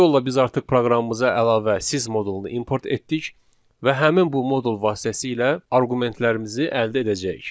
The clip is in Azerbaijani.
Bu yolla biz artıq proqramımıza əlavə sys modulunu import etdik və həmin bu modul vasitəsilə arqumentlərimizi əldə edəcəyik.